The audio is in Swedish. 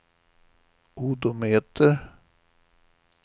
odometer